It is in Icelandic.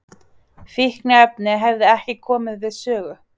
Fíkniefni hefðu ekki komið við sögu